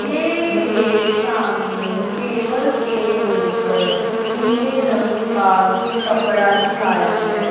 ये एक सामने टेबल के ऊपर नीले रंग का कुछ कपड़ा बिछाया है।